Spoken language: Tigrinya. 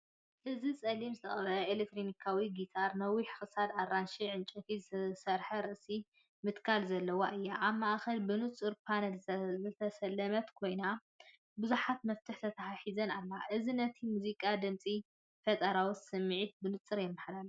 እዚ ጸሊም ዝተቐብአት ኤሌክትሪካዊት ጊታር፡ ነዊሕ ክሳዳን ኣራንሺ ዕንጨይቲ ዝሰርሓ ርእሲ ምትካልን ዘለዋ እያ። ኣብ ማእከላ ብንጹር ፓነል ዝተሰለመት ኮይና ብዙሓት መፍትሕታት ተተሓሒዛ ኣላ፤ እዚ ነቲ ሙዚቃዊ ድምጽን ፈጠራዊ ስምዒትን ብንጹር የመሓላልፍ።